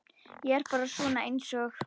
Ég er bara svona einsog.